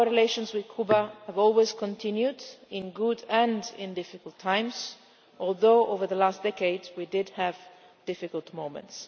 Our relations with Cuba have always continued, in good and in difficult times, although over the last decade we have had difficult moments.